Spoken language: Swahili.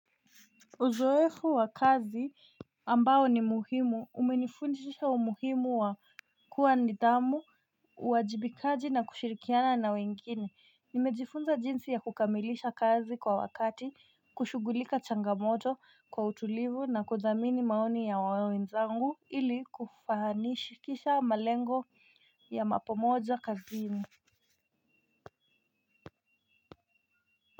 Uzoefu wa kazi ambao ni muhimu umenifundisha umuhimu wa kuwa na nidamu, uwajibikaji na kushirikiana na wengine, nimejifunza jinsi ya kukamilisha kazi kwa wakati, kushugulika changamoto kwa utulivu na kuthamini maoni ya wenzangu ili kufanikisha malengo ya pamoja kazini.